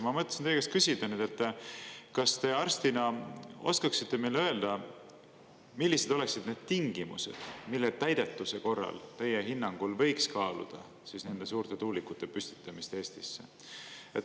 Ma mõtlesin teie käest küsida nüüd, kas te arstina oskaksite meile öelda, millised oleksid need tingimused, mille täidetuse korral teie hinnangul võiks kaaluda siis nende suurte tuulikute püstitamist Eestisse.